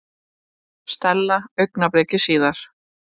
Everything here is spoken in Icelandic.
Stella augnabliki síðar.